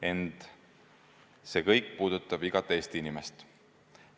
Ent see kõik puudutab igat Eesti inimest.